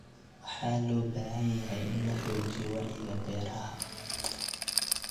Waxa loo baahan yahay in la xoojiyo wacyiga beeraha.